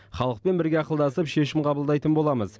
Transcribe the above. халықпен бірге ақылдасып шешім қабылдайтын боламыз